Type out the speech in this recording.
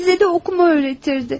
Bizə də oxumağı öyrədərdi.